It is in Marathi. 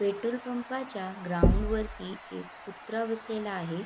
पेट्रोल पंपाच्या ग्राउंड वरती एक कुत्रा बसलेला आहे.